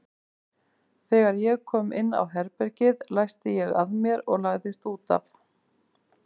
Þegar ég kom inn á herbergið læsti ég að mér og lagðist út af.